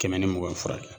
Kɛmɛ ni mugan ni fila